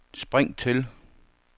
spring til